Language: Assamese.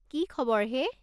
কি খবৰ হে?